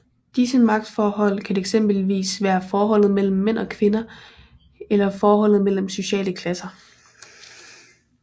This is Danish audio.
Disse magtforhold kan eksempelvis være forholdet mellem mænd og kvinder eller forholdet mellem sociale klasser